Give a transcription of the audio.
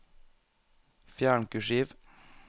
Fjern kursiv